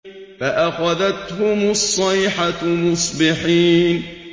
فَأَخَذَتْهُمُ الصَّيْحَةُ مُصْبِحِينَ